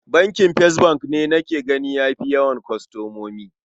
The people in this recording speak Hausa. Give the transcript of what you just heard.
Bankin First bank ne nake gani ya fi yawan kwastomomi.